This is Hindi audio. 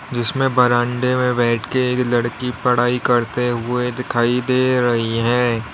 जिसमे बरांडे में बैठ के एक लड़की पढ़ाई करते हुए दिखाई दे रही हैं।